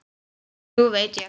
Nú veit ég.